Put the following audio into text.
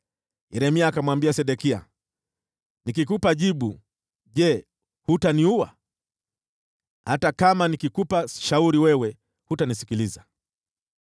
Yeremia akamwambia Sedekia, “Nikikupa jibu, je, hutaniua? Hata kama nikikupa shauri, wewe hutanisikiliza.”